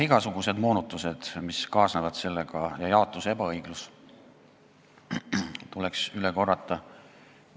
Igasugused moonutused, mis sellega kaasnevad, ja jaotuse ebaõiglus tuleks veel üle korrata.